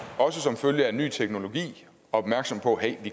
også som følge af at ny teknologi opmærksom på at